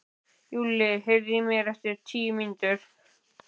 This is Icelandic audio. Júlli, heyrðu í mér eftir tíu mínútur.